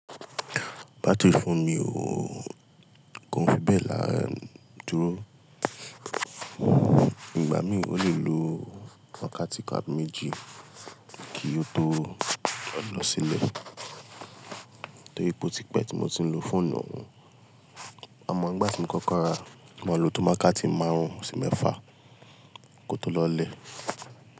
Battery fóònù mi ooo, kó n fi bẹ́ẹ̀ la dúró. Ìgbà mìí ó lè lo wákàtí kan àbí méjì kí ó tó lọ sílé torí pé ó tipẹ́ tí mo ti ń lo fóònù òun. Àmọ́ ńgbà tí mo kọ́kọ́ rà á, ó maa n lo wákàtí máarún sí mẹ́fà kó tó lọ lé.